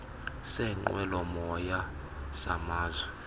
seenqwelo moya samazwe